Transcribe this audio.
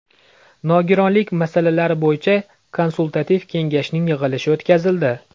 Nogironlik masalalari bo‘yicha Konsultativ kengashning yig‘ilishi o‘tkazildi .